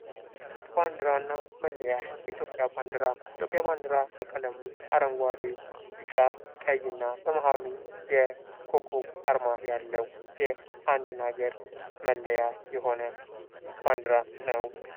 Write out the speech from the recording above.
ባንዲራ እና መለያየ ኢትዮጵያ ባንዲራ የኢትዮጵያ ባንዲራ በቀለሙ አረንጓዴና ቢጫ ቀይና በማህሉ የኮከብ አርማ ያለው አንድ ሀገር መለያየ የሆነ ባንዲራ ነው ::